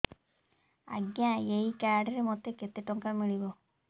ଆଜ୍ଞା ଏଇ କାର୍ଡ ରେ ମୋତେ କେତେ ଟଙ୍କା ମିଳିବ